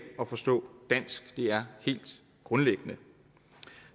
og forstå dansk det er helt grundlæggende